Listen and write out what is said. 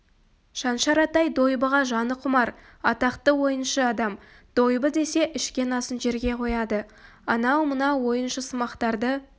шаншар атай дойбыға жаны құмар атақты ойыншы адам дойбы десе ішкен асын жерге қояды анау-мынау ойыншысымақтарды